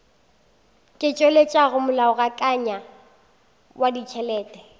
ka tšweletšago molaokakanywa wa ditšhelete